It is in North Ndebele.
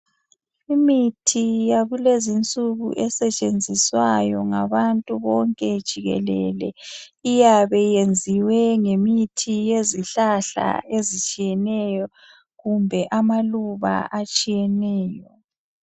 Imithi yakulezi insuku esetshenziswayo ngabantu jikelele iyabe iyenziwe ngemithi yezihlahla ezitshiyeneyo kumbe amaluba atshiyeneyo.